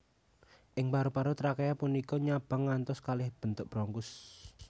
Ing paru paru trakea punika nyabang ngantos kalih bentuk bronkus